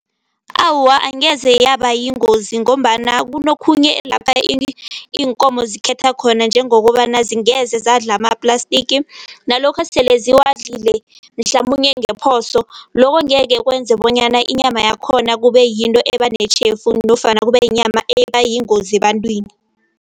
Awa, angeze yaba yingozi ngombana kunokhunye lapha iinkomo zikhetha khona njengokobana zingeza zadlala ama-plastic. Nalokha sele ziwadlile, mhlamunye ngephoso lokho angeke kwenze bonyana inyama yakhona kube yinto ebanetjhefu nofana kube yinyama eba yingozi ebantwini.